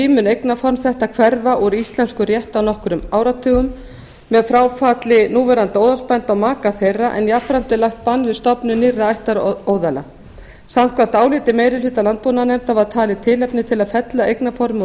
mun eignarform þetta hverfa úr íslenskum rétti á nokkrum áratugum með fráfalli núverandi óðalsbænda og maka þeirra en jafnframt er lagt bann við stofnun nýrra ættaróðala samkvæmt áliti meiri hluta landbúnaðarnefndar var talið tilefni til að fella eignarformið úr